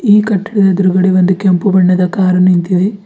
ಈ ಕಟ್ಟಡದ ಎದುರುಗಡೆ ಒಂದು ಕೆಂಪು ಬಣ್ಣದ ಕಾರು ನಿಂತಿದೆ.